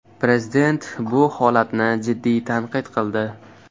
Prezident bu holatni jiddiy tanqid qildi.